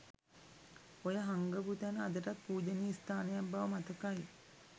ඔය හංගපු තැන අදටත් පූජනීය ස්ථානයක් බව මතකයි.